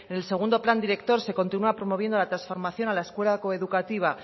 en el segundo plan director se continúa promoviendo la transformación a la escuela coeducativa